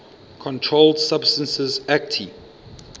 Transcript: controlled substances acte